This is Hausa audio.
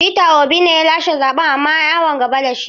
Peter Obi ne ya lashe zaɓen amma an yi awon gaba da shi.